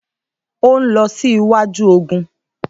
Óun lọ sí iwájú ogun